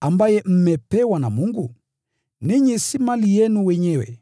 ambaye mmepewa na Mungu? Ninyi si mali yenu wenyewe,